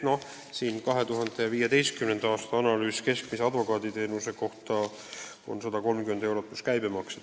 Noh, 2015. aastal oli advokaaditeenuse keskmine tunnitasu 130 eurot pluss käibemaks.